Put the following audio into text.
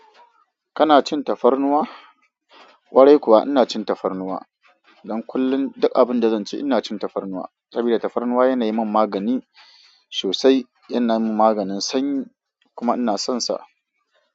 Kana cin tafarnuwa? Warai kuwa ina cin tafarnuwa. Don kullun duk abinda zanci ina cin tafarnuwa. Sabida tafarnuwa yana yimin magani sosai, yana min maganin sanyi kuma inason sa.